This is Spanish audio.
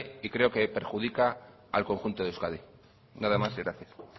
y creo que perjudica al conjunto de euskadi nada más y gracias